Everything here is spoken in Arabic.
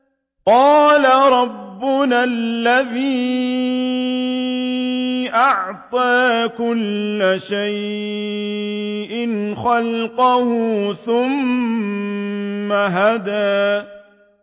قَالَ رَبُّنَا الَّذِي أَعْطَىٰ كُلَّ شَيْءٍ خَلْقَهُ ثُمَّ هَدَىٰ